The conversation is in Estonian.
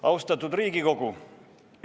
Austatud Riigikogu!